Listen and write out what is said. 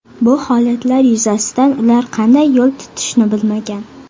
Bu holatlar yuzasidan ular qanday yo‘l tutishni bilmagan.